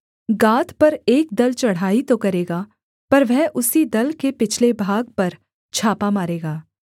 गाद पर एक दल चढ़ाई तो करेगा पर वह उसी दल के पिछले भाग पर छापा मारेगा